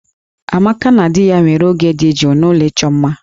Amaka na di ya nwere oge dị jụụ n'ụlọ ịchọ mma